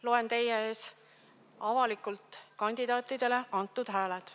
Loen teie ees avalikult kandidaatidele antud hääled.